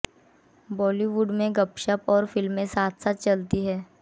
बॉलीवुड में गपशप और फिल्में साथ साथ चलते हैं